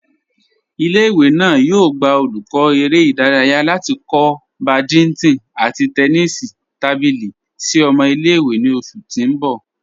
Ìlẹ̀-ìwé náà yóò gbà olùkọ̀ èrè̀ idáràyà láti kọ̀ bádìntọ̀n àti tẹ́nísì tábílì sí ọmọ̀ ìlẹ̀-ìwé ní oṣù tí n bọ̀.